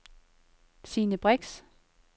Sine Brix